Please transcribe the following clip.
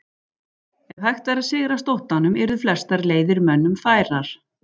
Ef hægt væri að sigrast óttanum yrðu flestar leiðir mönnum færar.